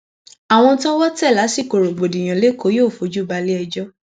àwọn tọwọ tẹ lásìkò rògbòdìyàn lẹkọọ yóò fojú balẹ ẹjọ